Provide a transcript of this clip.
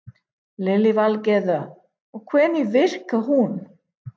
Lillý Valgerður: Og hvernig virkar hún?